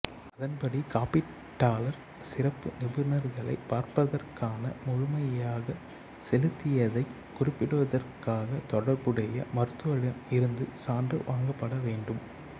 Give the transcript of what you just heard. அதன்படி காப்பீட்டாளர் சிறப்பு நிபுனர்களைப் பார்த்ததற்கான முழுமையாகச் செலுத்தியதைக் குறிப்பிடுவதற்காக தொடர்புடைய மருத்துவரிடம் இருந்து சான்று வாங்கப்பட வேண்டும்